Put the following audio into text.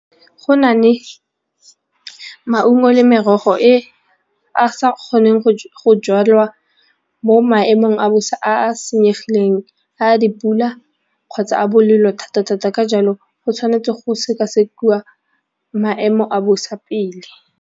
Go na le maungo le merogo e a sa kgoneng go jalwa mo maemong a bosa a a senyegileng a dipula kgotsa a bolelo thata-thata ka jalo go tshwanetse go sekasekiwa maemo a bosa pele.